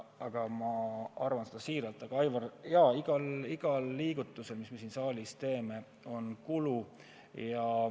Aga ma arvan seda siiralt, Aivar, et igal liigutusel, mis me siin saalis teeme, on kulu.